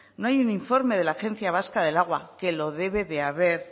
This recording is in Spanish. no hay un informe de la agencia vasca del agua que lo debe de haber